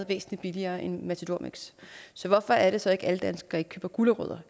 væsentlig billigere end matador mix så hvorfor er det så at alle danskere ikke køber gulerødder